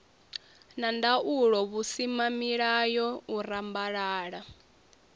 na ndaulo vhusimamilayo u rambalala